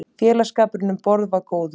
Félagsskapurinn um borð var góður.